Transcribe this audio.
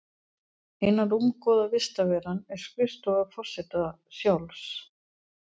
Eina rúmgóða vistarveran er skrifstofa forseta sjálfs.